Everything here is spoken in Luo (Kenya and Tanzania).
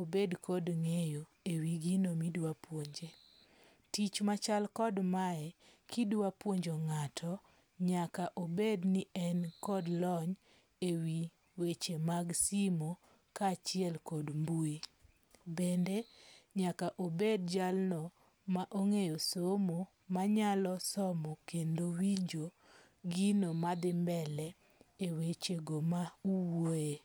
obed kod ng'eyo e wi gino midwa puonje. Tich machal kod mae kidwa puonjo ng'ato nyaka obed ni en kod lony e wi weche mag simu ka achiel kod mbui. Bende nyaka obed jalno ma ong'eyo somo manyalo somo kendo winjo gino ma dhi mbele e weche go ma uwuoye.